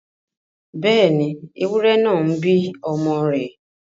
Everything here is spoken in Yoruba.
Bẹ́ẹ̀ni, ewúrẹ náà ń bí ọmọ rẹ̀